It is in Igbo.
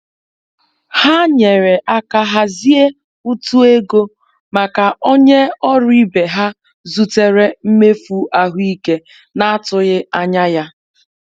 Ha nyere aka hazie utu ego maka onye ọrụ ibe ha zutere mmefu ahụike n'atụghị anya ya.